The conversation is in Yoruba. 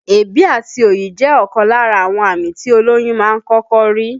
Èébì àti òyì jẹ́ ọ̀kan lára àwọn àmì tí olóyún máa ń kọ́kọ́ rí